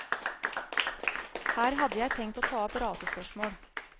Her hadde jeg tenkt å ta opp rasespørsmål.